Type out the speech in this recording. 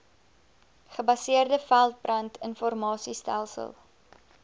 gebaseerde veldbrand informasiestelsel